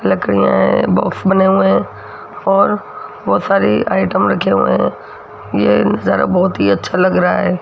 लकड़ियां हैं बॉक्स बने हुए हैं और बहुत सारी आइटम रखे हुए हैं ये नजारा बहुत ही अच्छा लग रहा है।